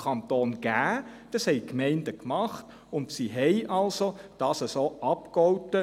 Das haben die Gemeinden getan, und sie haben es so abgegolten.